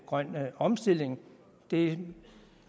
grøn omstilling det